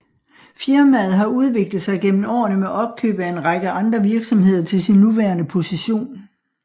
Firmaet har udviklet sig gennem årene med opkøb af en række andre virksomheder til sin nuværende position